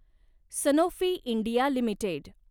Sanofi India limited